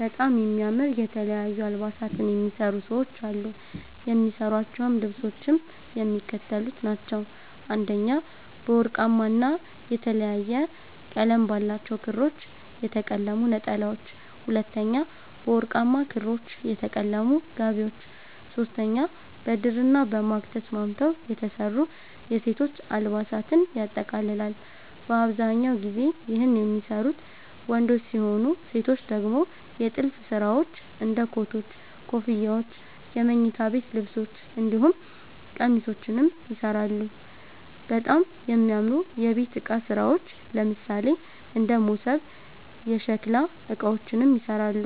በጣም የሚያምር የተለያዩ አልባሳትን የሚሰሩ ሰዎች አሉ። የሚሰሯቸዉ ልብሶችም የሚከተሉት ናቸዉ፦ 1) በወርቃማ ና የተለያየ ቀለም ባላቸዉ ክሮች የተለቀሙ ነጠላዎች፤ 2)በወርቃማ ክሮች የተለቀሙ ጋቢዎች፤ 3)በድርና በማግ ተስማምተዉ የተሰሩ የሴቶች አልባሳትን ያጠቃልላል። በአብዛኛው ጊዜ ይህን የሚሰሩት ወንዶች ሲሆኑ ሴቶች ደግሞ የጥልፍ ስራዎች እንደ ኮቶች, ኮፍያዎች የመኝታ ቤት ልብሶች እንዲሁም ቄሚሶችንም ይሰራሉ፣ በጣም የሚያምሩ የቤት እቃ ስራዎች ለምሳሌ እንደ መሶብ፣ የሸከላ እቃዎችንም ይሰራሉ።